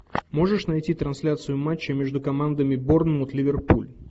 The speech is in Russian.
можешь найти трансляцию матча между командами борнмут ливерпуль